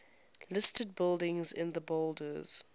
listed buildings in the borders